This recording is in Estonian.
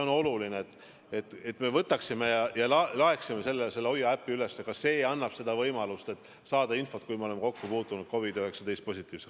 On oluline, et me võtaksime ja laadiksime selle HOIA äpi üles, ka see annab võimaluse saada infot, kui me oleme kokku puutunud COVID-19 positiivsega.